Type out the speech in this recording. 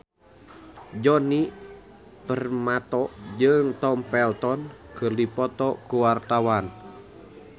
Djoni Permato jeung Tom Felton keur dipoto ku wartawan